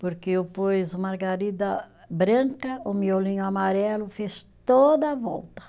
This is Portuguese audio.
Porque eu pus margarida branca, o miolinho amarelo fez toda a volta.